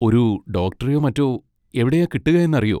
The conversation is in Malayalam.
ഒരു ഡോക്ടറെയോ മറ്റോ എവിടെയാ കിട്ടുക എന്ന് അറിയോ?